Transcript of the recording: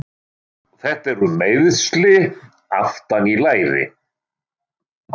Þetta eru meiðsli aftan í læri.